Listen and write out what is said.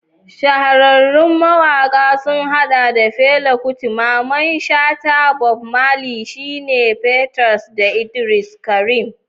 Shahararrun mawakan sun hada da Fela Kuti, Mamman Shata, Bob Marley, Shina Peters, da Idris Abdulkarim.